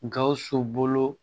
Gawusu bolo